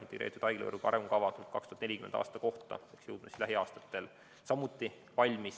Integreeritud haiglavõrgu arengukava kuni 2040. aastani peaks lähiaastatel samuti valmis saama.